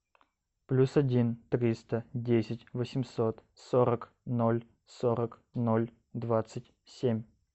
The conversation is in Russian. плюс один триста десять восемьсот сорок ноль сорок ноль двадцать семь